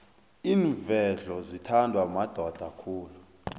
iinvedlo zithandwa madoda khulu